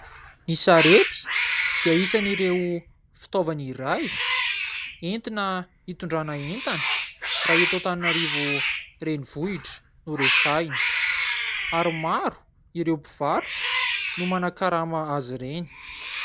Ny sarety dia isan' ireo fitaovana iray entina hitondrana entana raha eto Antananarivo renivohitra no resahina. Ary maro ireo mpivarotra no manan-karama azy ireny.